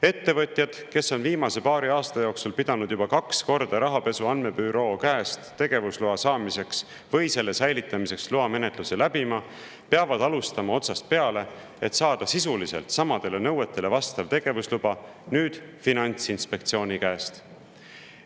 Ettevõtjad, kes on viimase paari aasta jooksul pidanud juba kaks korda rahapesu andmebüroo käest tegevusloa saamiseks või selle säilitamiseks loamenetluse läbima, peavad alustama otsast peale, et saada sisuliselt samadele nõuetele vastav tegevusluba nüüd Finantsinspektsiooni käest.